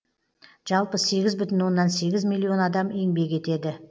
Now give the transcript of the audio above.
жалпы сегіз бүтін оннан сегіз миллион адам еңбек етеді